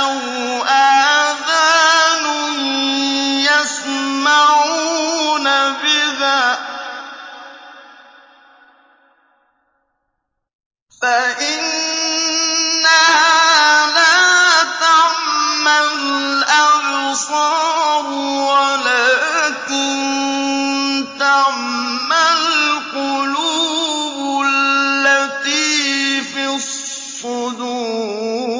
أَوْ آذَانٌ يَسْمَعُونَ بِهَا ۖ فَإِنَّهَا لَا تَعْمَى الْأَبْصَارُ وَلَٰكِن تَعْمَى الْقُلُوبُ الَّتِي فِي الصُّدُورِ